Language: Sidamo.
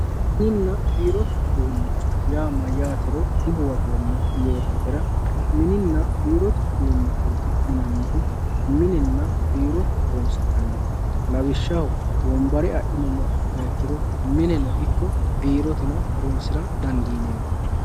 mininna birotte udunicho matiro di huwatomo yototera mininna birote udunicho yinanihu minenna birote horonsinaniho lawishaho wonbare adhinumoha ikiro mineno iko birote horonsira dandinemo